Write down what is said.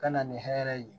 Ka na ni hɛrɛ ye